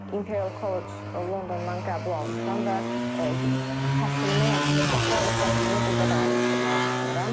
Imperial College Londondan qəbul almışam və təhsilimi, bakalavr təhsilimi burda davam etdirməyi düşünürəm.